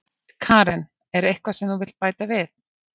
Karen: Er eitthvað sem þú vilt bæta við?